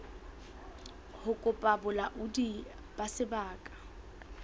ho kopa bolaodi ba sebaka